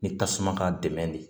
Ni tasuma ka dɛmɛ de